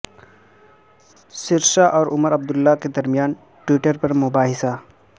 سرسا اور عمر عبداللہ کے درمیان ٹوئٹر پر مباحثہ